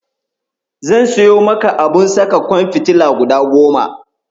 zan siyo maka abun saka ƙwan fitila guda goma.